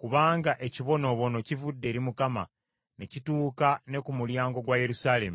kubanga ekibonoobono kivudde eri Mukama , ne kituuka ne ku mulyango gwa Yerusaalemi.